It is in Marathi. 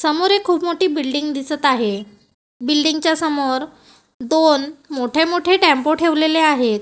समोर एक खूप मोठी बिल्डिंग दिसत आहे बिल्डिंग च्या समोर दोन मोठे मोठे टेम्पो ठेवलेले आहेत.